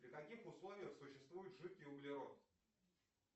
при каких условиях существует жидкий углерод